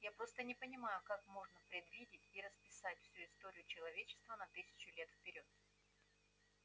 я просто не понимаю как можно предвидеть и расписать всю историю человечества на тысячу лет вперёд